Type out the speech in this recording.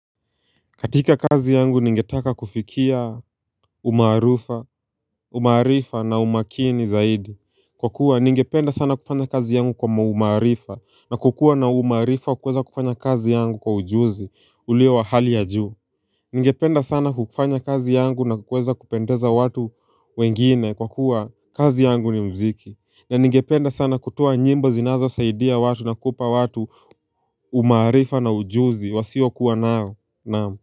Katika kazi yangu ningetaka kufikia umaarifa na umakini zaidi Kwa kuwa ningependa sana kufanya kazi yangu kwa umarifa na kukua na umaarifa kuweza kufanya kazi yangu kwa ujuzi ulio wa hali ya juu Ningependa sana kukufanya kazi yangu na kuweza kupendeza watu wengine kwa kuwa kazi yangu ni muziki na ningependa sana kutoa nyimbo zinazo saidia watu na kupa watu umarifa na ujuzi wasiwa kuwa nao naamu.